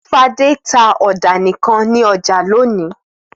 Fadé tá ọ̀dà nìkan ní ọjà lónìí.